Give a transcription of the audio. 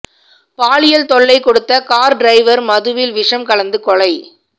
பாலியல் தொல்லை கொடுத்த கார் டிரைவர் மதுவில் விஷம் கலந்து கொலை